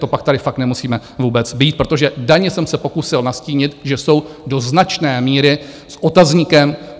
To pak tady fakt nemusíme vůbec být, protože daně jsem se pokusil nastínit, že jsou do značné míry s otazníkem.